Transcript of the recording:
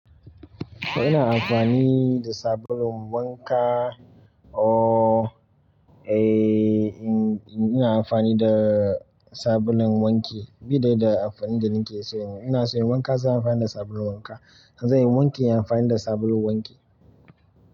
To ina amfani da sabulun wanka, oh eh ina amfani da sabulun wanki, bi daidai da amfanin da nake so. Ina so in yi wanka zan yi amfani da sabulun wanka, in zan yi wanki, in yi amfani da sabulun wanki.